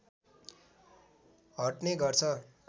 हट्ने गर्छ